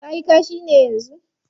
Ka yi kashi ne yanzu?